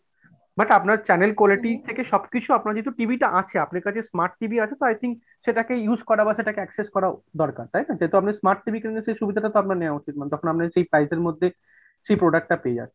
but আপনার channel quality থেকে সবকিছু আপনার যেহেতু TV টা আছে, আপনার কাছে smart TV আছে তো I think সেটাকে use করা বা সেটাকে access করা দরকার তাইনা? যেহেতু আপনার কাছে smart TV আছে তো এই সুবিধাটা তো আপনার নেয়া উচিত ma'am, তখন আপনার এই price এর মধ্যে সেই product টা পেয়ে যাচ্ছেন।